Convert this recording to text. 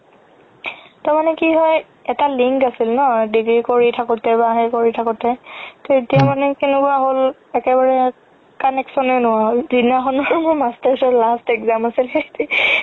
তাৰমানে কি হয় এটা link আছিল ন BBA কৰি থাকোতে বা সেই কৰি থাকোতে তৌ এতিয়া মানে কেনেকুৱা হ'ল একেবাৰে connection য়ে নোহুৱা হৈ গ'ল যিদিনাখন মই masters ৰ last exam আছিল